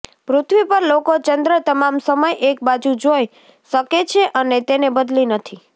પૃથ્વી પર લોકો ચંદ્ર તમામ સમય એક બાજુ જોઈ શકે છે અને તેને બદલી નથી